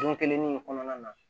Don kelen ni kɔnɔna na